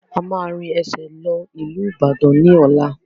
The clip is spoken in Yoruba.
A máa rìn ẹsẹ̀ lọ ìlú Ìbàdàn ni ọ̀la.